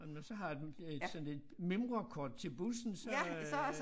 Og når man så har et øh et sådan et mimrekort til bussen så øh